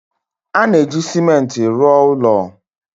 . A na-eji ciment rụọ ụlọ.